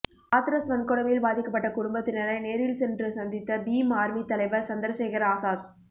ஹாத்ரஸ் வன்கொடுமையில் பாதிக்கப்பட்ட குடும்பத்தினரை நேரில் சென்று சந்தித்த பீம் ஆர்மித் தலைவர் சந்திரசேகர் ஆசாத்